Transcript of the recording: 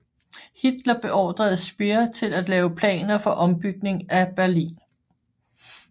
Hitler beordrede Speer til at lave planer for ombygning af Berlin